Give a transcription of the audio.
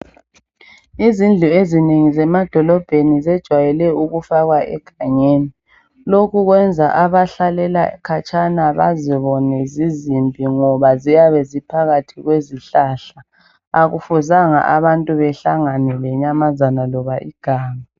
Izindlu ezinengi zemadolobheni zejwayele ukufakwa egangeni. Lokhu kwenza abahlalela khatshana bazibone zizimbi ngoba ziyabe ziphakathi kwezihlahla. Akufuzanga abantu behlangane lenyamazana loba iganga.